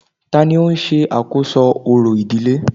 Tani o n se àkóso orò ìdílé